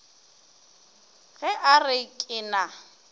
ge a re ke na